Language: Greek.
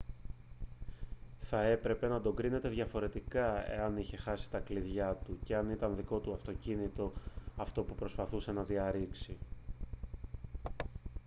θα έπρεπε να τον κρίνετε διαφορετικά εάν είχε χάσει τα κλειδιά του και ήταν το δικό του αυτοκίνητο αυτό που προσπαθούσε να διαρρήξει